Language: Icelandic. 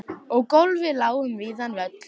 Og gólfið lá um víðan völl.